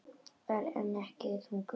Ör, en ekki þungur.